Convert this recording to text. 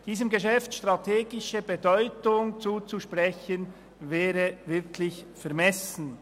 Diesem Geschäft strategische Bedeutung zuzusprechen, wäre wirklich vermessen.